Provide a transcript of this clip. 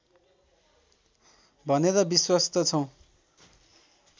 भनेर विश्वस्त छौँ